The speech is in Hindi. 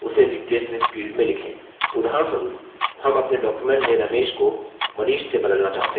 उदाहरणस्वरुप हम अपने document में ramesh को manish से बदलना चाहते हैं